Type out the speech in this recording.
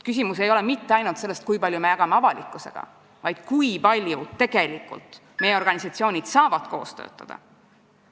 Küsimus ei ole mitte ainult selles, kui palju me avalikkusele infot jagame, vaid selles, kui palju tegelikult meie organisatsioonid saavad koos töötada.